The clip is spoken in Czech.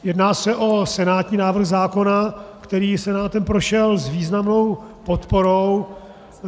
Jedná se o senátní návrh zákona, který Senátem prošel s významnou podporou.